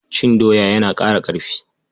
Cin doya yana ƙara ƙarfi.